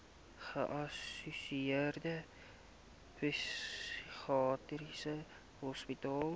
geassosieerde psigiatriese hospitale